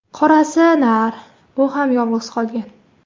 Qorasi nar, u ham yolg‘iz qolgan.